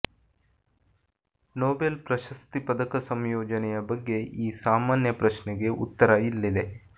Nobel ಪ್ರಶಸ್ತಿ ಪದಕ ಸಂಯೋಜನೆಯ ಬಗ್ಗೆ ಈ ಸಾಮಾನ್ಯ ಪ್ರಶ್ನೆಗೆ ಉತ್ತರ ಇಲ್ಲಿದೆ